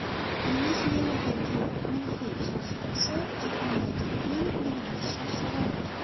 Venesueladagi Anxel sharsharasi jahondagi eng baland sharsharadir.